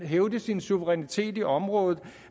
hævde sin suverænitet i området